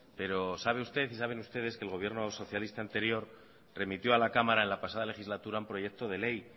pero sabe usted y saben ustedes que el gobierno socialista anterior remitió a la cámara en la pasada legislatura un proyecto de ley